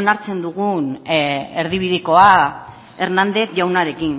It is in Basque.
onartzen dugun erdibidekoa hernández jaunarekin